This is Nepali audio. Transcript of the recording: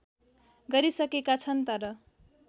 गरिसकेका छन् तर